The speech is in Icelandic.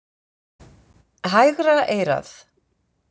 Hægra eyrað.